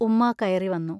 ഉമ്മാ കയറിവന്നു.